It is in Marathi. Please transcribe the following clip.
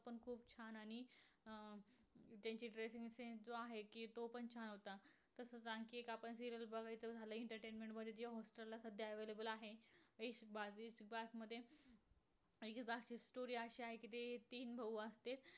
त्याचं dressing sence जो आहे कि तो पण छान होता. तसच आणखी एक आपण जर बघायचं झाल. entertainment मध्ये जे सद्या available आहे. त्याच्यात अशी storry अशी आहे. कि ते तीन भाऊ असते.